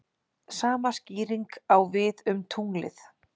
Sama skýring á við um tunglið.